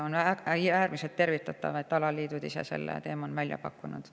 On äärmiselt tervitatav, et alaliidud ise selle teema on välja pakkunud.